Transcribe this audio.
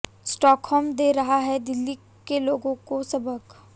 Stockholm दे रहा है दिल्ली के लोगों को सबक